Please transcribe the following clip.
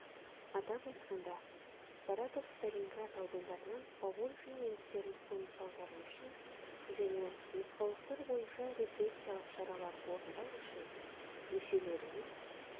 атап айтқанда саратов сталинград аудандарынан поволжье немістерін қоныс аудару үшін және нұсқаулықтар бойынша репрессиялық шаралар орындау үшін мүшелерінен